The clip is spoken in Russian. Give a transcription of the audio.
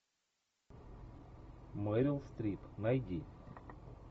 мерил стрип найди